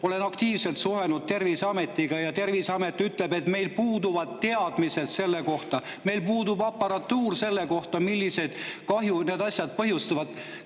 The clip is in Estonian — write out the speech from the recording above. Olen aktiivselt suhelnud Terviseametiga ja Terviseamet ütleb, et neil puuduvad teadmised selle kohta, neil puudub aparatuur,, millist kahju need asjad põhjustavad.